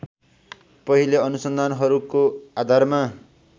पहिले अनुसन्धानहरको आधारमा